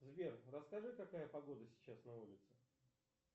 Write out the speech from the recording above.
сбер расскажи какая погода сейчас на улице